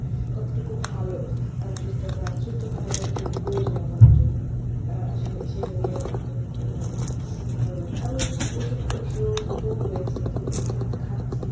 কতটুকু ভালো। আহ সুস্থতা সুস্থ থাকা কতটুকু প্রয়োজন আমাদের জন্য। আহ আসলে সেইজন্যেই অনেক ইয়ে লাগে, ভালো লাগে। আমি অসুস্থ হয়েছি এখন ওষুধ খাচ্ছি।